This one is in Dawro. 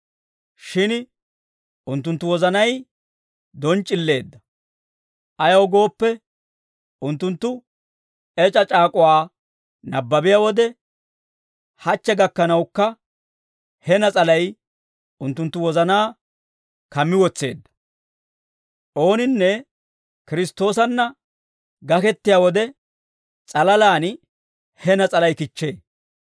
Shin unttunttu wozanay donc'c'illeedda; ayaw gooppe, unttunttu Ec'a C'aak'uwaa nabbabiyaa wode, hachche gakkanawukka, he nas'alay unttunttu wozanaa kammi wotseedda; ooninne Kiristtoosanna gakettiyaa wode s'alalaan he nas'alay kichchee.